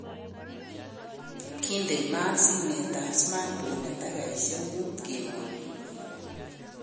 "Kindei maat simeet ab smartphone en takikosyeek muut," kimwaa